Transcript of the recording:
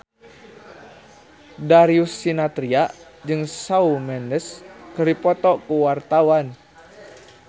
Darius Sinathrya jeung Shawn Mendes keur dipoto ku wartawan